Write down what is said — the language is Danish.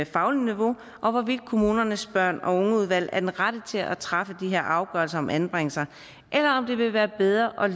fagligt niveau og hvorvidt kommunernes børn og unge udvalg er de rette til at træffe de her afgørelser om anbringelser eller om det vil være bedre at